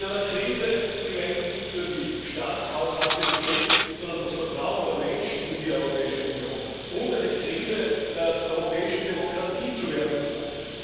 In einer Krise, die längst nicht nur die Staatshaushalte betrifft, sondern das Vertrauen der Menschen in die Europäische Union, und die eine Krise der europäischen Demokratie zu werden droht.